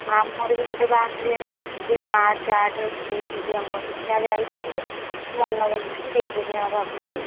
ଆମର ବି ଗୋଟେ ବହାଘରିଆ ରହିଯାଇଛି ଏଇ March ଆଠ ରେ ମୋ ପିଇସି ଝିଅଙ୍କର ଯାହା ଯାଇଥାନ୍ତି ମନାକଲି ଯିବିନି ଆଉ ଭାବୁଛି।